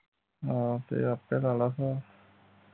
ਹਾਂ ਤੇ ਆਪੇ ਲਾ ਲਾ ਸਾਹਿਬ